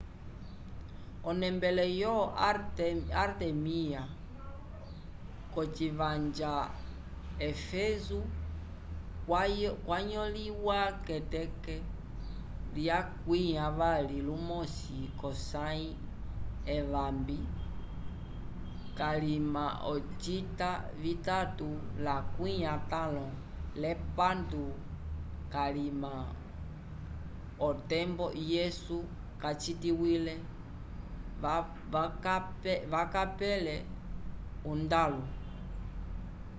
onembele yo artemya cocivanja éfeso cwanyoliwa keteke lyakwi avali lumosi cosaym evambi calima ocita vitatu lakwi atalõ lepandu calima otempo yesu kacitiwile vakapele o ndalu